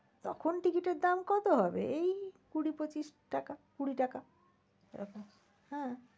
তখন ticket এর দাম কত হবে? এই কুড়ি পঁচিশ টাকা কুড়ি টাকা। হ্যাঁ